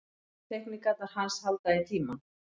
Teikningarnar hans halda í tímann.